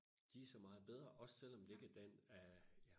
de så meget bedre også selvom det ikke er den af